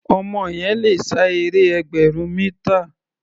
Ọmọ yẹn le sá eré ẹgbẹ̀rún mítà.